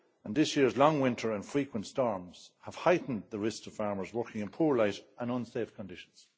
This year's long winter and frequent storms have heightened the risk to farmers working in poor light and unsafe conditions.